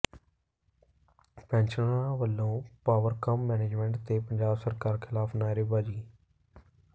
ਪੈਨਸ਼ਨਰਾਂ ਵੱਲੋਂ ਪਾਵਰਕਾਮ ਮੈਨੇਜਮੈਂਟ ਤੇ ਪੰਜਾਬ ਸਰਕਾਰ ਿਖ਼ਲਾਫ਼ ਨਾਅਰੇਬਾਜ਼ੀ